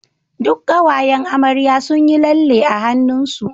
duk kawayan amarya sunyi lalle a hannun su